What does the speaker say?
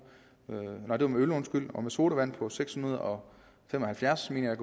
og med sodavand på seks hundrede og fem og halvfjerds million